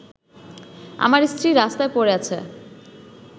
আমার স্ত্রী রাস্তায় পড়ে আছে